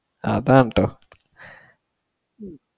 അതാട്ടോ